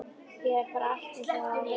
Hér er bara allt eins og það á að vera.